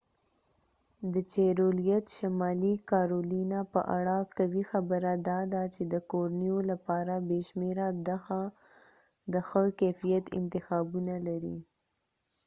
د چیرولیت شمالي کارولینا په اړه قوي خبره داده چې د کورنیو لپاره بې شمیره د ښه کیفیت انتخابونه لري